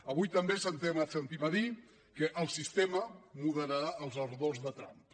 avui també sentim a dir que el sistema moderarà els ardors de trump